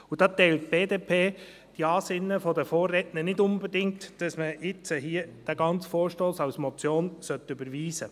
– Und da teilt die BDP die Ansinnen der Vorredner nicht unbedingt, wonach man den ganzen Vorstoss jetzt als Motion überweisen sollte.